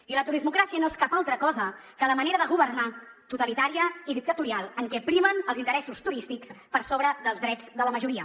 i la turismocràcia no és cap altra cosa que la manera de governar totalitària i dictatorial en què primen els interessos turístics per sobre dels drets de la majoria